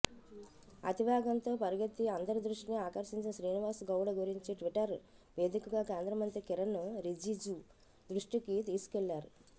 అతివేగంతో పరిగెత్తి అందరి దృష్టిని ఆకర్షించిన శ్రీనివాస్ గౌడ గురించి ట్విటర్ వేదికగా కేంద్రమంత్రి కిరణ్ రిజిజు దృష్టికి తీసుకువెళ్లారు